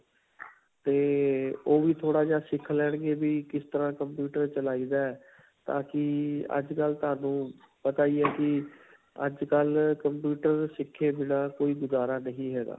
'ਤੇ ਉਹ ਵੀ ਥੋੜਾ ਜਿਹਾ ਸਿੱਖ ਲੈਣਗੇ ਵੀ ਕਿਸ ਤਰ੍ਹਾਂ computer ਚਲਾਇਦਾ ਹੈ. ਤਾਕਿ ਅੱਜਕਲ੍ਹ ਤੁਹਾਨੂੰ ਪਤਾ ਹੀ ਹੈ ਕਿ ਅੱਜਕਲ੍ਹ computer ਸਿੱਖੇ ਬਿਨ੍ਹਾ ਕੋਈ ਗੁਜ਼ਾਰਾ ਨਹੀਂ ਹੈਗਾ.